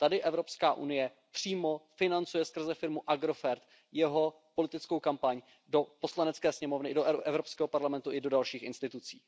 Tady Evropská unie přímo financuje skrze firmu Agrofert jeho politickou kampaň do Poslanecké sněmovny ČR, do Evropského parlamentu i do dalších institucí.